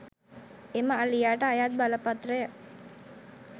එම අලියාට අයත් බලපත්‍රය